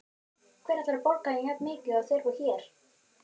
Hver ætlar að borga þeim jafnmikið og þeir fá hér?